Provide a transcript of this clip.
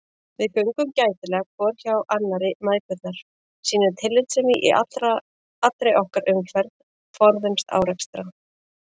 Við göngum gætilega hvor hjá annarri mæðgurnar, sýnum tillitssemi í allri okkar umferð, forðumst árekstra.